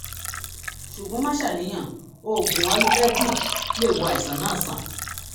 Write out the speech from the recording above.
ṣùgbọ́n má ṣàníyàn; oògùn ayurvedic lè wo àìsàn náà sàn